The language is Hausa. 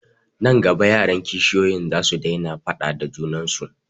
Nan gaba yaran kishiyoyin zasu daina faaɗa da junan su